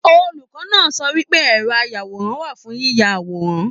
Olùkọ náà sọ wípé ẹrọ ayàwòrán wà fún yiyá àwòrán.